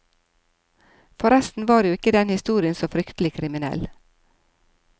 Forresten var jo ikke den historien så fryktelig kriminell.